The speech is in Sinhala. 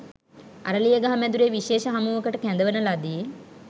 අරලියගහ මැදුරේ විශේෂ හමුවකට කැඳවන ලදි